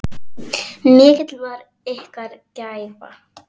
Mikil var ykkar gæfa.